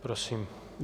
Prosím.